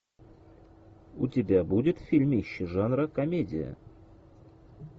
у тебя будет фильмище жанра комедия